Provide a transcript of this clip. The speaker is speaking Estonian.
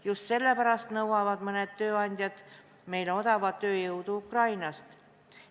Just sellepärast nõuavad mõned tööandjad meile odavat tööjõudu Ukrainast.